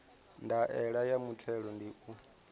ndaela ya muthelo ndi u